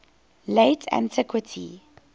late antiquity